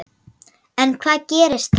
En hvað gerist þá?